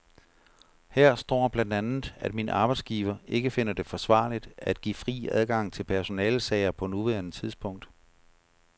Her står blandt andet, at min arbejdsgiver ikke finder det forsvarligt at give fri adgang til personalesager på nuværende tidspunkt.